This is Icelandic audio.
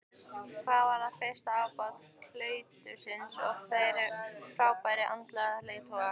Hann varð fyrsti ábóti klaustursins og frábær andlegur leiðtogi.